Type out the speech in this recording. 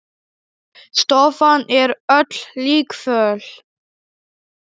Stofan er öll líkföl.